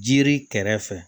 Jiri kɛrɛfɛ